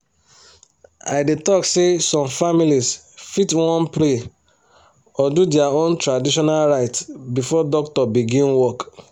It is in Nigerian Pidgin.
i dey talk say some families fit wan pray or do their own traditional rites before doctor begin work